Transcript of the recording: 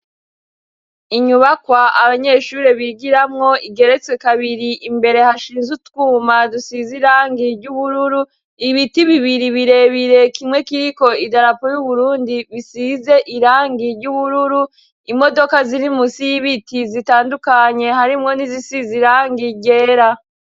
Inyubakwa abanyeshure bigiramwo igeretswe kabiri imbere hashinze utwuma dusize irangi ry'ubururu, ibiti bibiri birebire kimwe kiriko idarapo y'Uburundi bisize irangi ry'ubururu, imodoka ziri munsi y'ibiti zitandukanye harimwo n'izisizirangi ryera.